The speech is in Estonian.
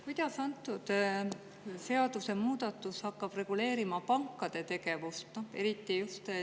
Kuidas antud seadusemuudatus hakkab reguleerima pankade tegevust?